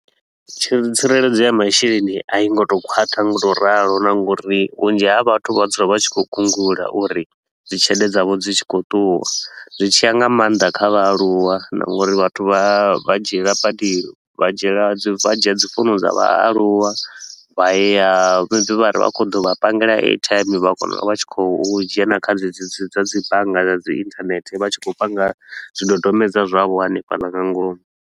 Tshi tsireledzo ya masheleni a i ngo to u khwaṱha nga u to u ralo na nga uri vhunzhi ha vhathu vha dzula vha tshi khou gungula uri dzi tshelede dzavho dzi dzula dzi tshi khou ṱuwa. Zwi tshi ya nga maanḓa kha vhaaluwa na nga uri vhathu vha vha dzhiela badi vha dzhiela dzi vha dzhia dzi founu dza vhaaluwa, vha ya vha vha khou ḓo vha pangele airtime vha kona u vha vha tshi khou dzhena kha dzedzi dza dzi bannga dza dzi internet, vha tshi khou panga zwidodombedzwa zwavho hanefhaḽa nga ngomu.